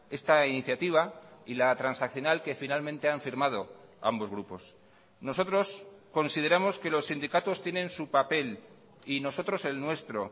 esta iniciativa y la transaccional que finalmente han firmado ambos grupos nosotros consideramos que los sindicatos tienen su papel y nosotros el nuestro